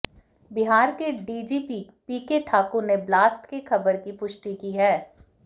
बिहार के DGP PK Thakur ने blast के खबर की पुष्टि की है